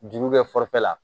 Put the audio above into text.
Juru bɛ fɔ la